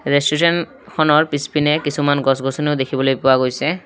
ৰেষ্টোৰেঁতখনৰ পিছপিনে কিছুমান গছ গিছনিও দেখিবলৈ পোৱা গৈছে।